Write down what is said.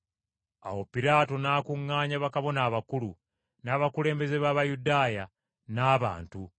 Awo Piraato n’akuŋŋaanya bakabona abakulu, n’abakulembeze b’Abayudaaya, n’abantu,